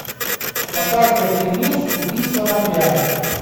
показывай фильмец убийство на пляже